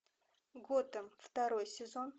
готэм второй сезон